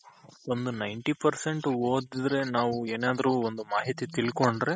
ಒಂದು Ninety percent ಓದುದ್ರೆ ನಾವ್ ಏನಾದ್ರೂ ಒಂದ್ ಮಾಹಿತಿ ತಿಳ್ಕೊಂಡ್ರೆ